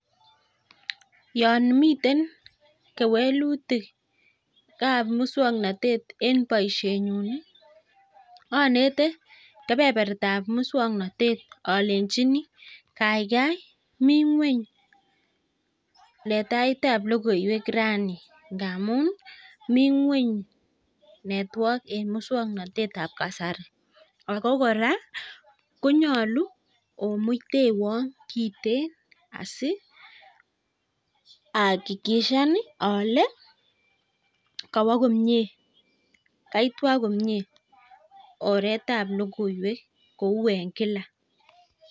Yon miten kewelutikab muswoknatet eng boishenyu anete kebebertab muswagnatet alenjini kaikai mii ng'weny letaetab logoiwek raini ngamun mi ng'weny network eng muswoknatetab kasari. Ako kora konyolu imuitewa kiteen asi akikishan ale kawo komie, kaitwak komie oretab logoiwek kou eng kila.